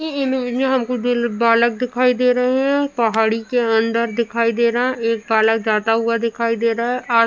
ई image में हमको दो बालक दिखाई दे रहे हैं। पहाड़ी के अंदर दिखाई दे रहे हैं। एक बालक जाता हुआ दिखाई दे रहा है। आज --